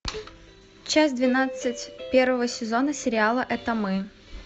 часть двенадцать первого сезона сериала это мы